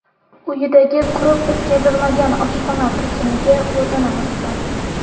uyidagi qurib bitkazilmagan oshxona to‘siniga o‘zini osgan.